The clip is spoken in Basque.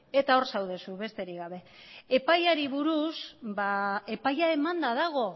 eta hor zaude zu besterik gabe epaiari buruz epaia emanda dago